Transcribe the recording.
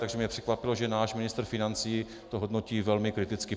Takže mě překvapilo, že náš ministr financí to hodnotí velmi kriticky.